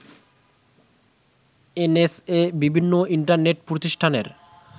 NSA বিভিন্ন internet প্রতিষ্ঠানের